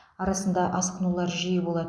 арасында асқынулар жиі болады